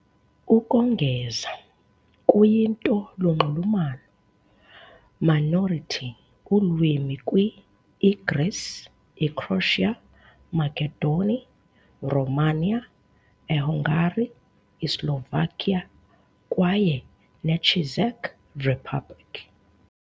Ukongeza, kuyinto lunxulumano minority ulwimi kwi - Igreece, Ecroatia, Makedoni, Romania, Ehungary, Islovakia, kwaye neCzech Republic.